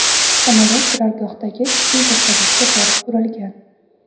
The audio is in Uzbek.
Samolyot turargohdagi ikki vertolyotga borib urilgan.